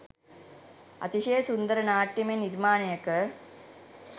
අතිශය සුන්දර නාට්‍යමය නිර්මාණයක